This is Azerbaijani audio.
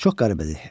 Çox qəribədi.